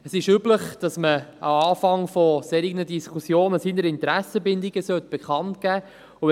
Es ist üblich, dass man am Anfang solcher Diskussionen seine Interessenbindungen bekannt geben sollte.